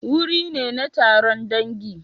Wuri ne na taron dangi.